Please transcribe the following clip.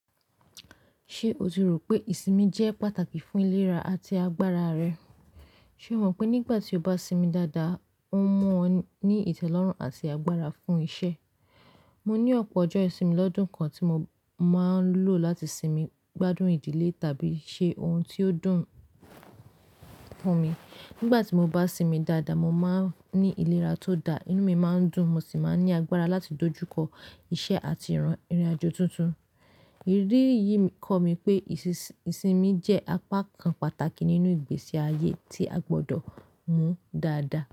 Ṣé o ti rò pé ìsinmi jẹ́ pàtàkì fún ìlera àti agbára rẹ? Ṣé o mọ̀ pé nígbà tí o bá sinmi dáadáa, ó mọ́ ọ ní ìtẹ́lọ́rùn àti agbára fún iṣẹ́. Mo ní ọ̀pọ̀ ọjọ́ ìsinmi lọ́dún kan tí mo máa ń lò láti sinmi, gbádùn ìdílé tàbí ṣe ohun tí ó dùn fún mi. Nígbà tí mo bá sinmi dáadáa, mo má ń ní ìlera tó da, inú mi má ń dùn mo sì má ń ní agbára láti dojú kọ iṣẹ́ àti ìrìnàjò tuntun. Èrí yìí kọ́ mi pé ìsinmi jẹ́ apá kan pàtàkì nínú ìgbésí ayé tí a gbọ́dọ̀ mú dáadáa.